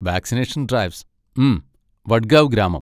Vaccination drives, hmm, Vadgaon ഗ്രാമം.